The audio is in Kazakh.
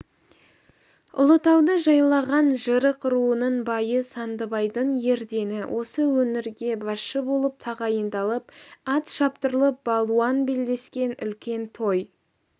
ұлытауды жайлаған жырық руының байы сандыбайдың ердені осы өңірге басшы болып тағайындалып ат шаптырылып балуан белдескен үлкен той